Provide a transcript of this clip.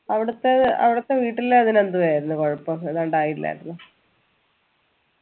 അവിടത്തെ അവിടത്തെ വീട്ടിൽ അതിന് എന്തുവായിരുന്നു കുഴപ്പം ഏതാണ്ട് ആയില്ലായിരുന്നോ